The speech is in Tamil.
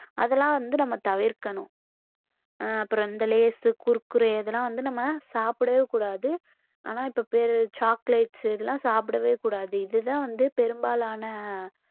அதெல்லாம் வந்து நம்ம தவிர்க்கணும் ஆஹ் அப்புறம் இந்த லேஸ், குர்குரே இதெல்லாம் வந்து நம்ம சாப்பிடவே கூடாது ஆனா இப்ப பாரு chocolates இதெல்லாம் சாப்பிடவே கூடாது இதுதான் வந்து பெரும்பாலான